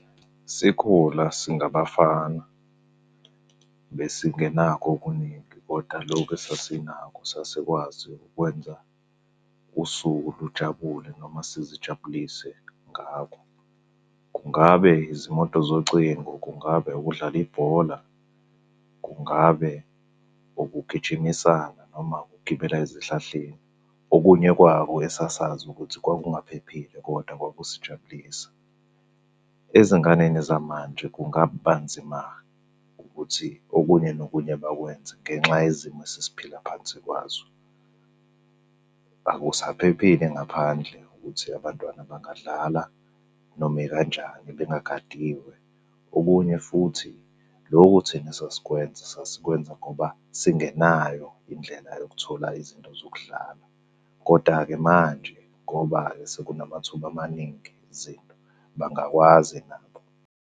Sikhula singabafana besingenakho okuningi, kodwa lokhu esasinakho sasikwazi ukwenza usuku lujabule noma sizijabulise ngakho. Kungabe izimoto zocingo, kungabe ukudlala ibhola, kungabe ukugijimisana noma ukugibela ezihlahleni. Okunye kwako esasazi ukuthi kwakungaphephile, kodwa kwakusijabulisa. Ezinganeni zamanje kungaba nzima ukuthi okunye nokunye bakwenze ngenxa yezimo esesiphila phansi kwazo. Akusaphephile ngaphandle ukuthi abantwana bangadlala noma ikanjani bengagadiwe. Okunye futhi, loku thina esasikwenza sasikwenza ngoba singenayo indlela yokuthola izinto zokudlala, koda-ke manje ngoba-ke sekunamathuba amaningi izinto, bangakwazi nabo.